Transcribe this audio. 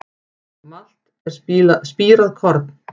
Malt er spírað korn.